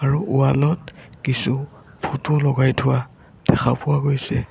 আৰু ৱাল ত কিছু ফটো লগাই থোৱা দেখা পোৱা গৈছে।